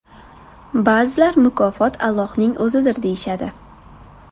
Ba’zilar mukofot Allohning O‘zidir deyishadi.